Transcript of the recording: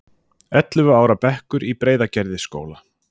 Ellefu ára bekkur í Breiðagerðisskóla.